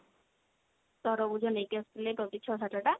ତରଭୁଜ ନେଇକି ଆସିଥିଲେ ଛଅ ସାତ ଟା